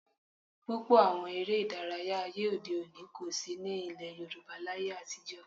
Púpọ̀ àwọn eré ìdárayá ayé òde òní kò sí ní ilẹ̀ Yorùbá láyé atijọ́